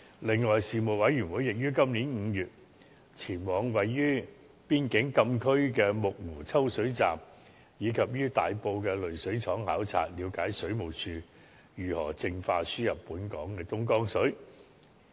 此外，事務委員會亦於今年5月，前往位於邊境禁區的木湖抽水站及於大埔的濾水廠考察，了解水務署如何淨化輸入本港的東江水。